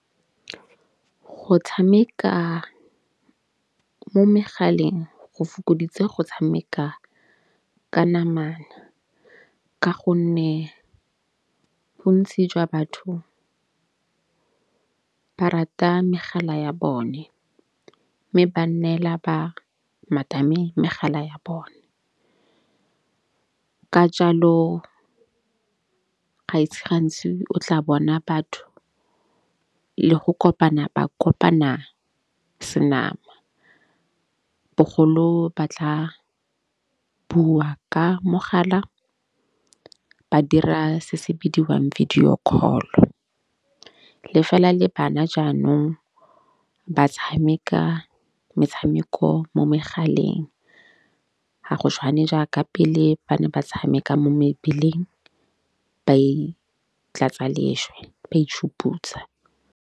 Go tshameka mo megaleng go fokoditse go tshameka ka nama ka gonne bontsi jwa batho ba rata megala ya bone. Mme ba neela ba megala ya bone ka jalo ga ise gantsi o tla bona batho le go kopana ba kopana senama, bogolo ba tla bua ka mogala ba dira se se bidiwang video call. Le fela le bana jaanong ba tshameka metshameko mo megaleng ga go tshwane jaaka pele ba ne ba tshameka mo mebileng ba itlatsa lešwe ba itšhuputsa.